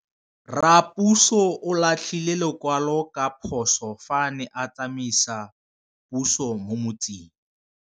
Raposo o latlhie lekwalô ka phosô fa a ne a tsamaisa poso mo motseng.